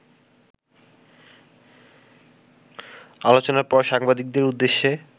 আলোচনার পর সাংবাদিকদের উদ্দেশ্যে